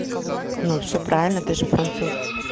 ну все правильно ты же француз